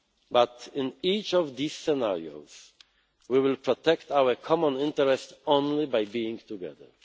Brexit. But in each of these scenarios we will protect our common interest only by being together.